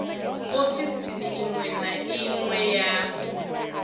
ofisini iṅwe na iṅwe ya